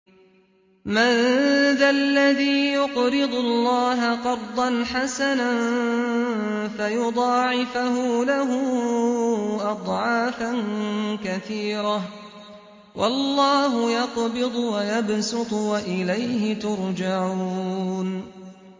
مَّن ذَا الَّذِي يُقْرِضُ اللَّهَ قَرْضًا حَسَنًا فَيُضَاعِفَهُ لَهُ أَضْعَافًا كَثِيرَةً ۚ وَاللَّهُ يَقْبِضُ وَيَبْسُطُ وَإِلَيْهِ تُرْجَعُونَ